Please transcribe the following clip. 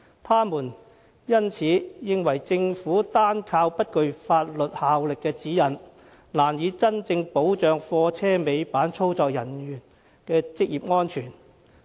他們因此認為政府單靠不具法律效力的《指引》，難以真正保障貨車尾板操作人員的職業安全。